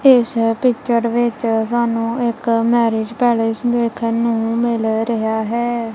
ਇਸ ਪਿੱਚਰ ਵਿੱਚ ਸਾਨੂੰ ਇੱਕ ਮੈਰਿਜ ਪੈਲੇਸ ਦੇਖਨ ਨੂੰ ਮਿਲ ਰਿਹਾ ਹੈ।